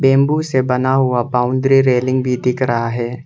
Bamboo से बना हुआ बाउंड्री रेलिंग भी दिख रहा है।